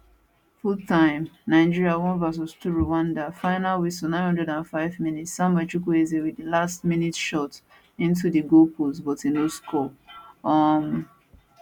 fulltime nigeria 1 vs 2 rwanda final whistle 905mins samuel chukwueze wit di last minute shot into di goal post but e no score um